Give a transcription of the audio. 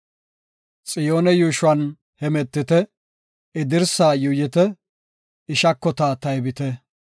Xiyoone yuushuwan hemetite; I dirsa yuuyite; I shakota taybite.